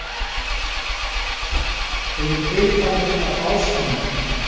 Þau eru byggð þannig af ásetningi.